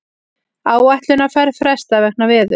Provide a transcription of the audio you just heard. Áætlunarferð frestað vegna veðurs